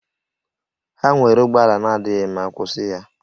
Ha nwere ụgbọ ala na-adịghị mma, kwụsị ya!